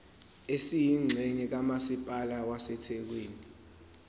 esiyingxenye kamasipala wasethekwini